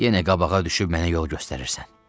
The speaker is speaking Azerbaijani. Yenə qabağa düşüb mənə yol göstərirsən.